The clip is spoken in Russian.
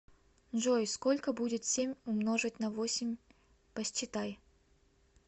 джой сколько будет семь умножить на восемь посчитай